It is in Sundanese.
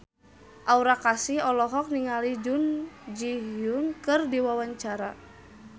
Aura Kasih olohok ningali Jun Ji Hyun keur diwawancara